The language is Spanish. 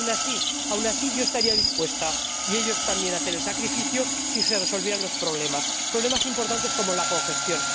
Pero aun así yo estaría dispuesta, y ellos también, a hacer el sacrificio si se resolvieran los problemas, problemas importantes como la congestión.